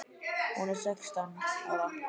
Hún er sextán ára.